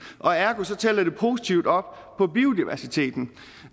ergo tæller det positivt op på biodiversiteten